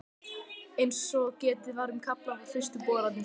Eins og getið var um í kafla um fyrstu boranir